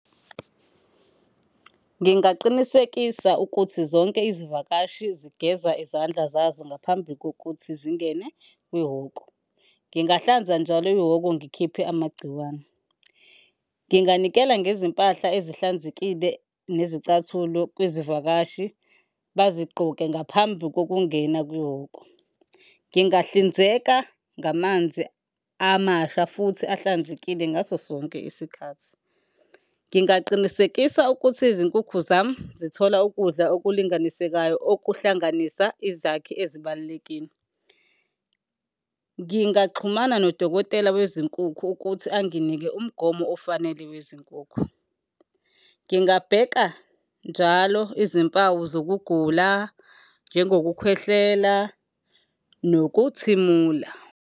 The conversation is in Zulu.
Ngingaqinisekisa ukuthi zonke izivakashi zigeza izandla zazo ngaphambi kokuthi zingene kwihhoko, ngingahlanza njalo ihhoko ngikhiphe amagciwane. Nginganikela ngezimpahla ezihlanzekile nezicathulo kwizivakashi bazigqoke ngaphambi kokungena kwihhoko. Ngingahlinzeka ngamanzi amasha futhi ahlanzekile ngaso sonke isikhathi. Ngingaqinisekisa ukuthi izinkukhu zami zithola ukudla okulinganisekayo okuhlanganisa izakhi ezibalulekile. Ngingaxhumana nodokotela wezinkukhu ukuthi anginike umgomo ofanele wezinkukhu. Ngingabheka njalo izimpawu zokugula, njengokukhwehlela, nokuthimula.